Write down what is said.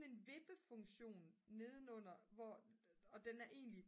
en vippefunktion nedenunder og den er egentlig